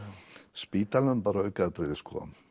spítalinn er bara aukaatriði sko